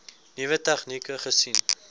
nuwe tegnieke gesien